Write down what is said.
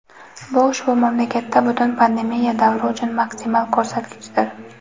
Bu ushbu mamlakatda butun pandemiya davri uchun maksimal ko‘rsatkichdir.